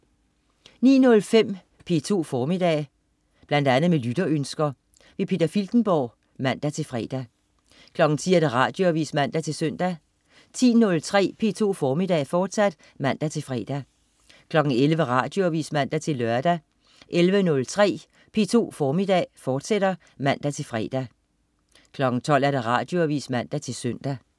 09.05 P2 Formiddag. Bl.a. med lytterønsker. Peter Filtenborg (man-fre) 10.00 Radioavis (man-søn) 10.03 P2 Formiddag, fortsat (man-fre) 11.00 Radioavis (man-lør) 11.03 P2 Formiddag, fortsat (man-fre) 12.00 Radioavis (man-søn)